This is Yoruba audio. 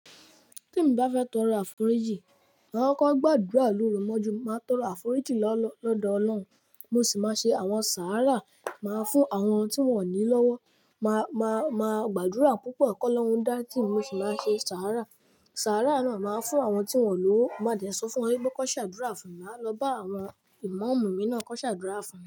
Témi bá fẹ́ tọrọ àforíjì, màá kọ́kọ́ gbàdúrà lórú mọ́jú mo. Màá tọrọ àforíjì lọ́dọọ Ọlọ́run, mo sì máa ṣe àwọn sàárà, màá fún àwọn tí wọ́n ò ní lọ́wọ́. Màá, màá, màá gbàdúrà púpọ̀ kọ́ lọ́hùn dá tí mi, mo sì máa ṣe sàárà. Sàárà náà màá fún àwọn tí wọ́n ò lọ́wọ́. Mo máa dẹ̀ sọ fún wọn wípé kọ ṣàdúrà fún mi, màá lọ bá àwọn ìmáàmù mi náà kọ ṣàdúrà fún mi.